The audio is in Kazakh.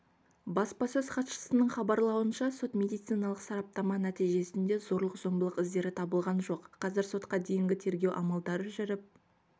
баспасөз хатшысының хабарлауынша сот-медициналық сараптама нәтижесінде зорлық-зомбылық іздері табылған жоқ қазір сотқа дейінгі тергеу амалдары жүріп